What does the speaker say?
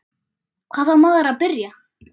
Hvar á maður að byrja?